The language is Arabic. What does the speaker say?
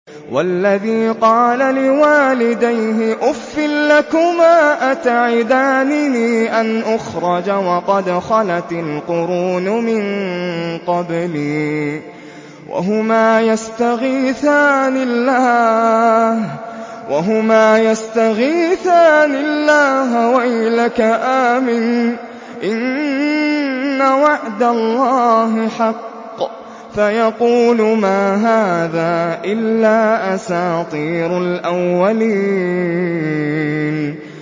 وَالَّذِي قَالَ لِوَالِدَيْهِ أُفٍّ لَّكُمَا أَتَعِدَانِنِي أَنْ أُخْرَجَ وَقَدْ خَلَتِ الْقُرُونُ مِن قَبْلِي وَهُمَا يَسْتَغِيثَانِ اللَّهَ وَيْلَكَ آمِنْ إِنَّ وَعْدَ اللَّهِ حَقٌّ فَيَقُولُ مَا هَٰذَا إِلَّا أَسَاطِيرُ الْأَوَّلِينَ